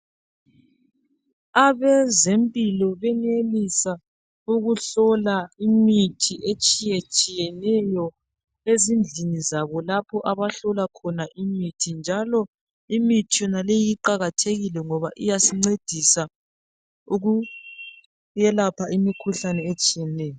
Abezempilo benelisa ukuhlola imithi etshiyetshiyenyo ezindlini zabo lapho abahlola khona imithi njalo imithi yonaleyi iqakathekile ngoba iyasincedisa ukuyelapha imikhuhlane etshiyeneyo.